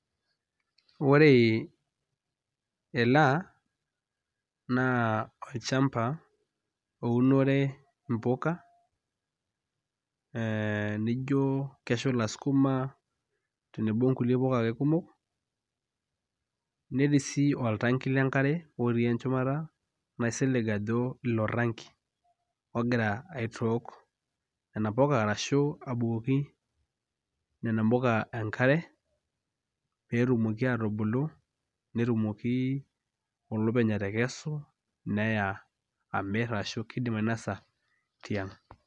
Ore ena naa olchamba ounore imbuka, ee nijo keshula sukuma tenebo ingulie puka ake kumok.,netii oltangi le nkare otii shumata naisilig ajo tangi ogira aitook nena puka arashu, abukoki nena puka enkare peetumoki atubulu netumoki olopeny atekesu, neya amir arashu kiidim ainosa tiang'.